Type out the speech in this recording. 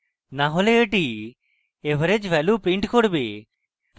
না হলে এটি average value print করবে